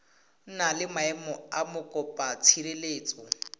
na le maemo a mokopatshireletso